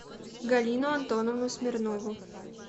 галину антоновну смирнову